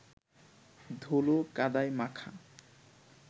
ধুলো কাদায় মাখা